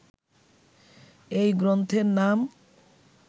এই গ্রন্থের নাম